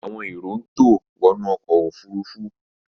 Àwọn èrò ń tò wọnú ọkọ̀ òfurufú